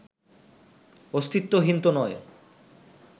অস্তিত্বহীন তো নয়